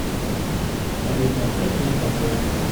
салют оставь меня в покое